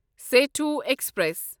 Sethu express